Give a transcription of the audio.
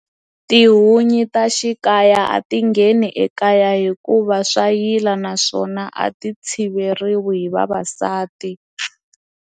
Tihunyi ta xikaya a ti ngheni ekaya hikuva swa yila naswona a ti tshiveriwi hi vavasati.